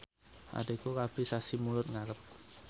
adhiku rabi sasi Mulud ngarep